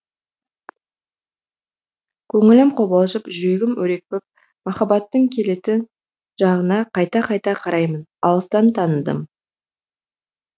көңілім қобалжып жүрегім өрекпіп махаббаттың келетін жағына қайта қайта қараймын алыстан таныдым